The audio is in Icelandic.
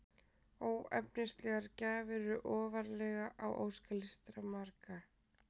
Óefnislegar gjafir eru ofarlega á óskalista margra.